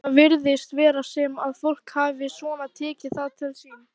Hingað virðist vera sem að fólk hafi svona tekið það til sín?